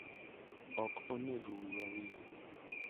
Ok onego wiwa wil